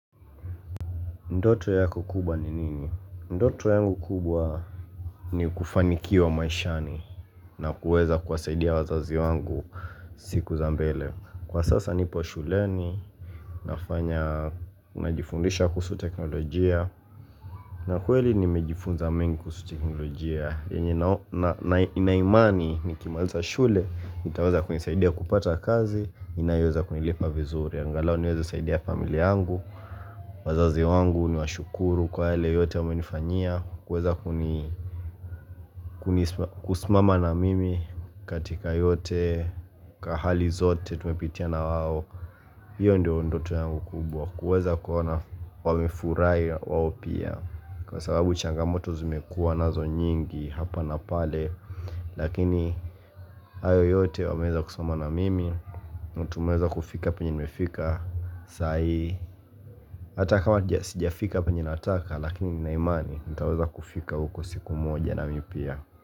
Ndoto yako kubwa ni nini? Ndoto yangu kubwa ni kufaniki wa maishani na kuweza kuasaidia wazazi wangu siku za mbele. Kwa sasa nipo shuleni, nafanya, najifundisha kusu teknolojia. Na kweli nimejifunza mengu kusu teknolojia. Yenye na inaimani ni kimaliza shule, itaweza kunisaidia kupata kazi, inaweza kunilipa vizuri. Angalao niwezo saidi ya familia angu wazazi wangu ni washukuru kwa yale yote wame nifanyia Kweza kuni kusmama na mimi katika yote Kahali zote tumepitia na waho hiyo ndio ndoto yangu kubwa Kweza kuona wamifurai wa opia Kwa sababu changamoto zimekua na zo nyingi hapa na pale Lakini ayo yote wameza kusmama na mimi Mutumeza kufika penye nimefika Saai, hata kama sija fika penye nataka lakini na imani nitaweza kufika huko siku moja na mipia.